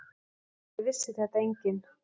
Auðvitað vissi þetta enginn.